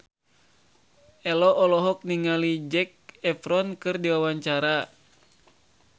Ello olohok ningali Zac Efron keur diwawancara